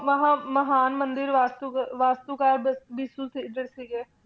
ਮਹਾਂ~ ਮਹਾਨ ਮੰਦਿਰ ਵਾਸਤੂਕਾਰ ਸਿਰਜਕ ਸੀਗੇ,